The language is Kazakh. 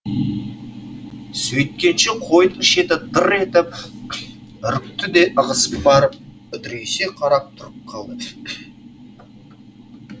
сөйткенше қойдың шеті дыр етіп үрікті де ығысып барып үдірейісе қарап тұрып қалды